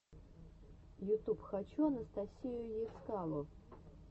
ютуб хочу анастасию ецкало